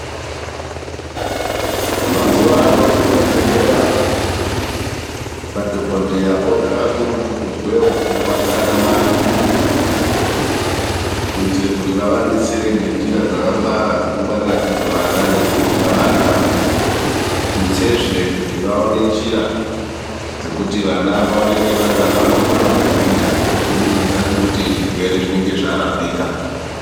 Mazuwano muzvibhedhlera madhokodheya oda kakurutu kuzwewo pfungwa dzaana mai, kuitire kuti vavadetsere ngenjira dzakangwara dzekungwarirandidzo vana nekukudza vana. Tutsezve kuti vaone njira dzekut vana vaoneke vari vana vanokura vakagwinya kubudikidza ngekuti zvirwere zvinenge zvarapika.